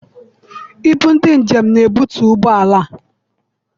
Ibu ndị njem n'ebutu ụgbọala a.